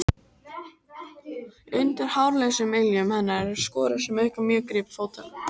Undir hárlausum iljum hennar eru skorur sem auka mjög grip fótanna.